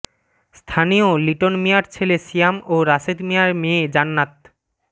স্থানীয় লিটন মিয়ার ছেলে সিয়াম ও রাশেদ মিয়ার মেয়ে জান্নাত